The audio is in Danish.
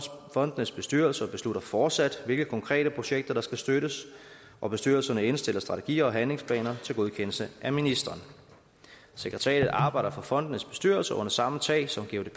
fondenes bestyrelser beslutter fortsat hvilke konkrete projekter der skal støttes og bestyrelserne indstiller strategier og handlingsplaner til godkendelse af ministeren sekretariatet arbejder for fondenes bestyrelser under samme tag som